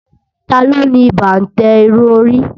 Taló ni bàǹtẹ́ irun orí